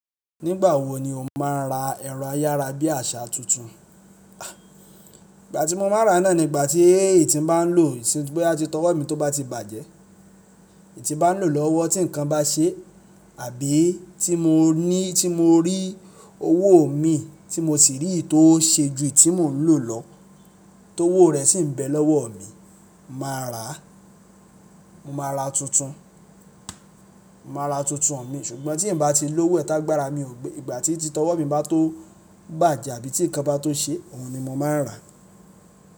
Nígbàwọ́ ni o máa ra ẹ̀rọ ayárabíàṣá tuntun? Ìgbà tí mo máa rà náà ni ìgbà tí èyi tí bá ń lò, tí báyìí ti tọwọ́ mi tó bá ti bàjẹ́. Èyi tí bá ń lò lọ́wọ́ tí nǹkan bá ṣé àbí tí mo ní, tí mo rí owó mi tí mo sì rí ìtó ṣe ju èyi tí mo ń lò lọ, towó rẹ̀ sì ń bẹ lọ́wọ́ mi, màá rà. Mo máa rà tuntun. Mo máa rà tuntun mi ṣùgbọ́n tí n bá ti lówó ẹ tágbàrà mi o gbe, igba tí titọwọ́ mi bá tó bàjẹ́ àbí tí nǹkan bá tó ṣe, òhun ni mo máa rà.